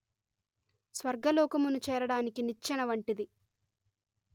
స్వర్గలోకమును చేరడానికి నిచ్చెన వంటిది